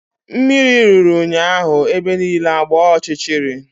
Mmiri ruru ụnyaahụ ebe niile agbaa ọchịchịrị